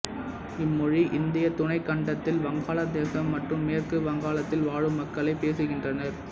இம்மொழி இந்தியத் துணைக்கண்டத்தில் வங்காள தேசம் மற்றும் மேற்கு வங்காளத்தில் வாழும் மக்கள் பேசுகின்றனர்